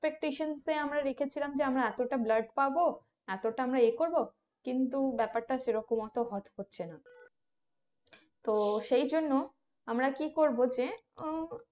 Expectaion যে আমরা এতটা blood পাবো এতটা আমরা এ করবো কিন্তু ব্যাপারটা সেরকম অত work করছে না তো সেই জন্য আমরা কি করবো যে উহ